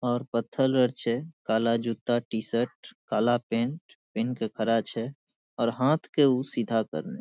और पत्थर आर छै काला जूता टी-शर्ट काला पैंट पिन्ह के खड़ा छै और हाथ के उ सीधा करने --